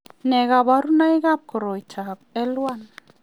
Nee kabarunoikab koroitoab L1